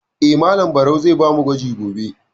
Eh, Malam Barau zai ba mu gwaji gobe.